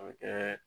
A bɛ kɛ